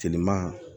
Teliman